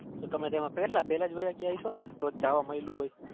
તો તમે પેલા વાયા ગયા હસોને તોજ જવા મળ્યું હોય